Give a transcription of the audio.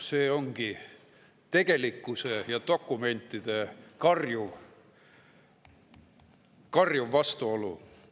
See ongi tegelikkuse ja dokumentide karjuv vastuolu.